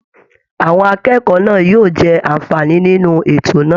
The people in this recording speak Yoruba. Àwọn akẹ́kọ̀ọ́ náà yóò jẹ àǹfààní nínú ètò náà